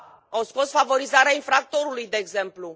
Au scos favorizarea infractorului, de exemplu.